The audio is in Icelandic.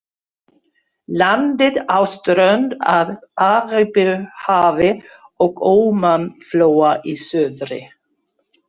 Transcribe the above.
Landið á strönd að Arabíuhafi og Ómanflóa í suðri.